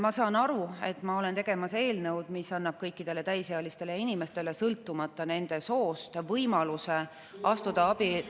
Ma saan aru, et ma olen tegemas eelnõu, mis annab kõikidele täisealistele inimestele, sõltumata nende soost, võimaluse astuda abi…